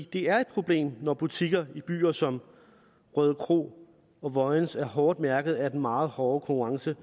det er et problem når butikker i byer som rødekro og vojens er hårdt mærket af den meget hårde konkurrence